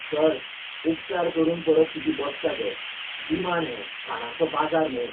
Sir, उपकार करून परत तुजी बसका घे. विमान हें, खाणांचो बाजार न्हय!